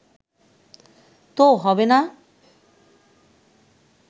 তো হবে না